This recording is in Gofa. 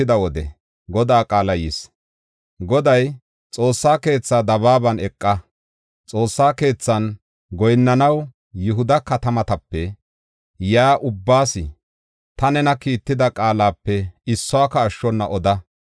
Goday, “Xoossa keetha dabaaban eqa. Xoossa keethan goyinnanaw Yihuda katamatape yaa ubbaas, ta nena kiitida qaalape issuwaka ashshona oda.